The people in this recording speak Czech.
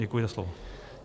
Děkuji za slovo.